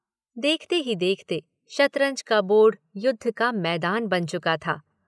देखते ही देखते शतरंज का बोर्ड युद्ध का मैदान बन चुका था।